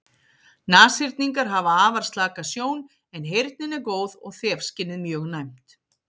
Nashyrningar hafa afar slaka sjón en heyrnin er góð og þefskynið mjög næmt.